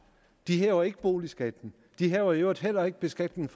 vi hæver ikke boligskatten vi hæver i øvrigt heller ikke beskatningen